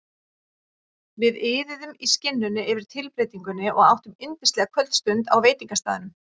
Við iðuðum í skinninu yfir tilbreytingunni og áttum yndislega kvöldstund á veitingastaðnum.